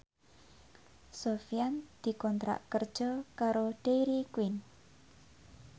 Sofyan dikontrak kerja karo Dairy Queen